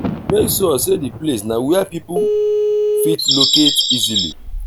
make sure sey di place na where pipo fit locate easily